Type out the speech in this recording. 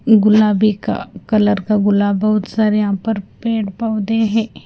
गुलाबी का कलर का गुलाब बहुत सारे यहां पर पेड़ पौधे हैं।